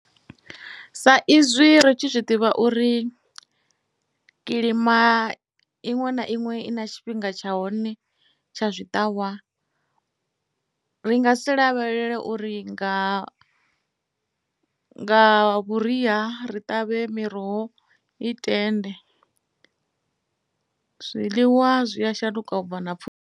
Sa izwi ritshi zwi ḓivha uri kilima iṅwe na iṅwe i na tshifhinga tsha hone tsha zwiṱavhwa ri nga si lavhelela uri nga nga vhuria ri ṱavhe miroho i tende zwiḽiwa zwi a shanduka ubva na .